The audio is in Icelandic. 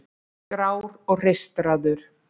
Grár og hreistraður.